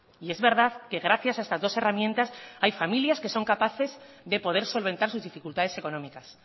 y es verdad que gracias a estas dos herramientas hay familias que son capaces de poder solventar sus dificultades económicas